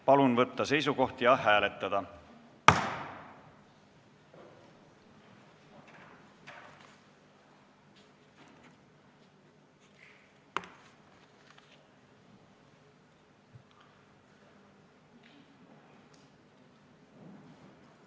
Palun võtta seisukoht ja hääletada!